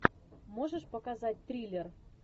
можешь показать триллер